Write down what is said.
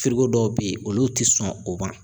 dɔw bɛ yen olu tɛ sɔn o ma